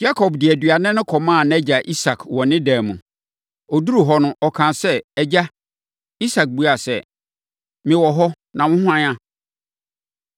Yakob de aduane no kɔmaa nʼagya Isak wɔ ne dan mu. Ɔduruu hɔ no, ɔkaa sɛ, “Agya!” Isak buaa sɛ, “Mewɔ hɔ na wo hwan a?”